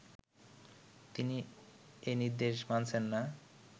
তিনি এ নির্দেশ মানছেন না